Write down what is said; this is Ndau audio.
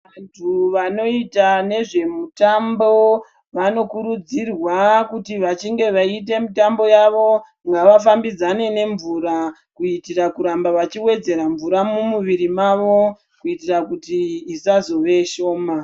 Vantu vanoita nezvemutambo vanokurudzirwa kuti veinge vechiita mitambo yavo ngavafambidzane nemvura kuitira kuramba vachiwedzera mvura mumuviri mavo kuitira kuti isazove shoma.